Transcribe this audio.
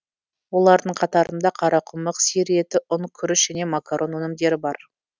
олардың қатарында қарақұмық сиыр еті ұн күріш және макарон өнімдері бар